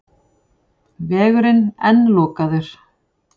Vegurinn enn lokaður